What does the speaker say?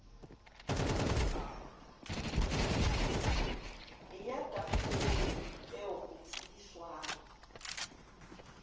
eya tafoleng eo ho tsebiswang